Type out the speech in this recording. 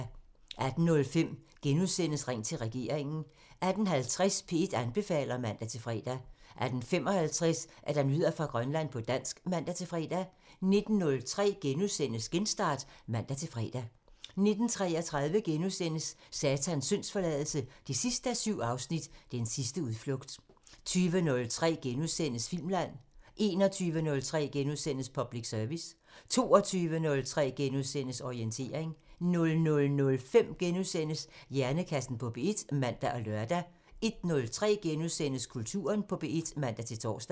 18:05: Ring til regeringen *(man) 18:50: P1 anbefaler (man-fre) 18:55: Nyheder fra Grønland på dansk (man-fre) 19:03: Genstart *(man-fre) 19:33: Satans syndsforladelse 7:7 – Den sidste udflugt * 20:03: Filmland *(man) 21:03: Public Service *(man) 22:03: Orientering *(man-fre) 00:05: Hjernekassen på P1 *(man og lør) 01:03: Kulturen på P1 *(man-tor)